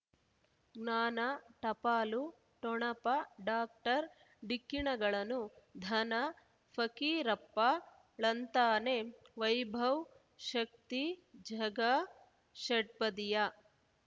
ಜ್ಞಾನ ಟಪಾಲು ಠೊಣಪ ಡಾಕ್ಟರ್ ಢಿಕ್ಕಿ ಣಗಳನು ಧನ ಫಕೀರಪ್ಪ ಳಂತಾನೆ ವೈಭವ್ ಶಕ್ತಿ ಝಗಾ ಷಟ್ಪದಿಯ